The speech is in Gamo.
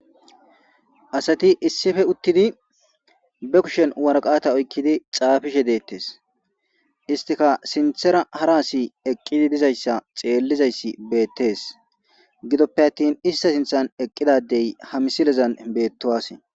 asati issife uttidi be kushen waraqata oykkidi xaafishe deettes istika sinthera hara asi eqqidi dizayssa xeellizayssi beettees gidoppe attin ista sinthan eqqidadey hamisilezan beettowase